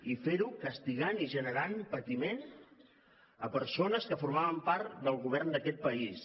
i fer ho castigant i generant patiment a persones que formaven part del govern d’aquest país